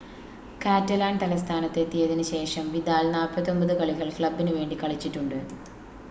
Catalan തലസ്ഥാനത്ത് എത്തിയതിന് ശേഷം വിദാൽ 49 കളികൾ ക്ലബ്ബിന് വേണ്ടി കളിച്ചിട്ടുണ്ട്